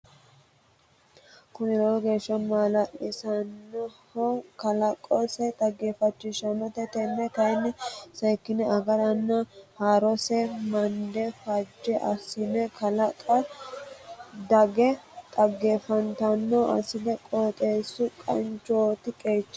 Kuni lowo geeshsha maalalisanoho kalaqosino dhaggeefachisanote tene kayinni seekkine agarana horose mande faajje assine kalqe dagge dhaggeefattanotta assa qooxxeesu qansichoti qeechati.